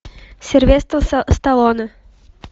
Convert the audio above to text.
сильвестр сталоне